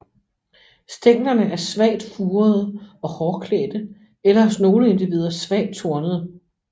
Stænglerne er svagt furede og hårklædte eller hos nogle individer svagt tornede